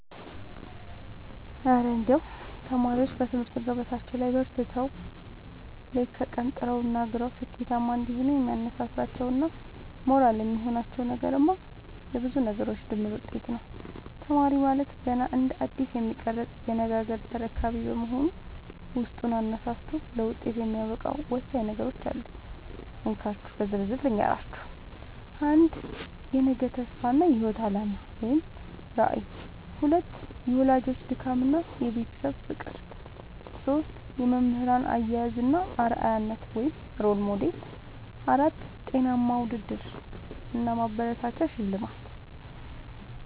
እረ እንደው ተማሪዎች በትምህርት ገበታቸው ላይ በርትተው፣ ሌት ከቀን ጥረውና ግረው ስኬታማ እንዲሆኑ የሚያነሳሳቸውና ሞራል የሚሆናቸው ነገርማ የብዙ ነገሮች ድምር ውጤት ነው! ተማሪ ማለት ገና እንደ አዲስ የሚቀረጽ የነገ ሀገር ተረካቢ በመሆኑ፣ ውስጡን አነሳስቶ ለውጤት የሚያበቃው ወሳኝ ነገሮች አሉ፤ እንካችሁ በዝርዝር ልንገራችሁ - 1. የነገ ተስፋ እና የህይወት አላማ (ራዕይ) 2. የወላጆች ድካምና የቤተሰብ ፍቅር 3. የመምህራን አያያዝ እና አርአያነት (Role Model) 4. ጤናማ ውድድር እና ማበረታቻ (ሽልማት)